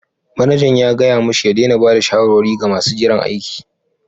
Manajan ya gaya mashi ya daina ba da shawarwari ga masu jiran aiki.